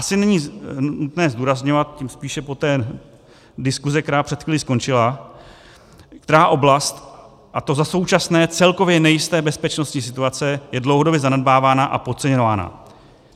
Asi není nutné zdůrazňovat, tím spíše po té diskusi, která před chvílí skončila, která oblast, a to za současné celkově nejisté bezpečnostní situace, je dlouhodobě zanedbávána a podceňována.